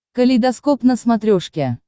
калейдоскоп на смотрешке